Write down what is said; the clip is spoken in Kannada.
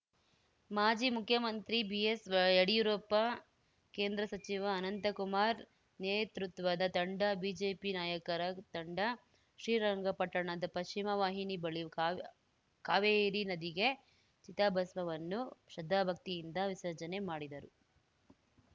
ಮಾಜಿ ಮುಖ್ಯಮಂತ್ರಿ ಬಿಎಸ್‌ಯಡಿಯೂರಪ್ಪ ಕೇಂದ್ರ ಸಚಿವ ಅನಂತ ಕುಮಾರ್‌ ನೇತೃತ್ವದ ತಂಡ ಬಿಜೆಪಿ ನಾಯಕರ ತಂಡ ಶ್ರೀರಂಗಪಟ್ಟಣದ ಪಶ್ಚಿಮ ವಾಹಿನಿ ಬಳಿ ಕಾವ್ ಕಾವೇರಿ ನದಿಗೆ ಚಿತಾಭಸ್ಮವನ್ನು ಶ್ರದ್ಧಾಭಕ್ತಿಯಿಂದ ವಿಸರ್ಜನೆ ಮಾಡಿದರು